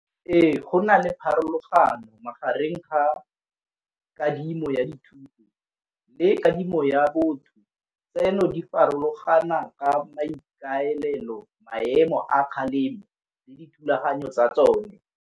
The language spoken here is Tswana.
Ee, go na le pharologano magareng ga kadimo ya dithuto le kadimo ya botho tseno di farologana ka maikaelelo maemo a kgalemo le dithulaganyo tsa tsone.